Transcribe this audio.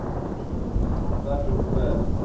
да холода приближаются